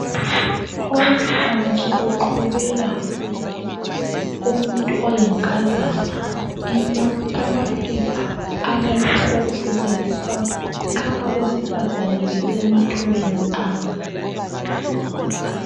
Owempilakahle uqhubela umuntu oyinkazana amaphepha alalokhu okusetshenziswa nxa abesifazana besemathubeni abo.